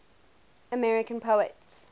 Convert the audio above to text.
american poets